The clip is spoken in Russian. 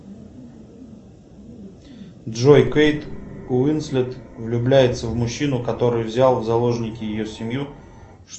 джой кейт уинслет влюбляется в мужчину который взял в заложники ее семью